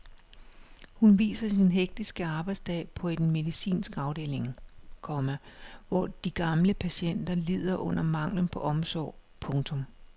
Hun viser sin hektiske arbejdsdag på en medicinsk afdeling, komma hvor de gamle patienter lider under manglen på omsorg. punktum